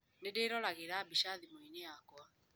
Nĩ ndĩroragĩra mbica thimũ-inĩ yakwa.